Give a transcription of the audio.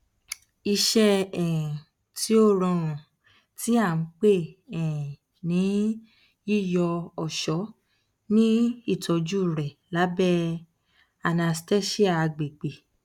iṣẹ um ti o rọrun ti a npe um ni yiyọ ọṣọ ni itọju rẹ labẹ anesthesia agbegbe